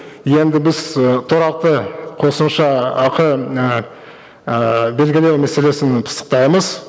енді біз і тұрақты қосымша ақы ыыы ыыы белгілеу мәселесін пысықтаймыз